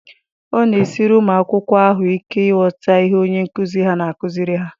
Ọ na-esiri ụmụ akwụkwọ ahụ ike ịghọta ihe onye nkụzi ha na-akụziri ha.